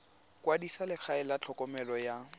kwadisa legae la tlhokomelo ya